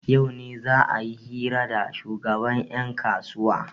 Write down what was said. yau ne za a yi hira da shugaban yankasuwa